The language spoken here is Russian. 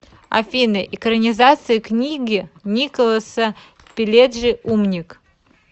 афина экранизация книги николаса пиледжи умник